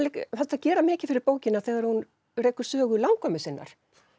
gera mikið fyrir bókina þegar hún rekur sögu langömmu sinnar